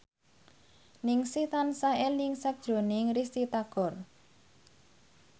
Ningsih tansah eling sakjroning Risty Tagor